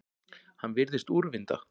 Hann virðist úrvinda.